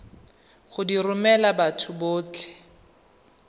go di romela batho botlhe